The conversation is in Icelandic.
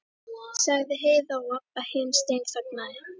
sagði Heiða og Abba hin steinþagnaði.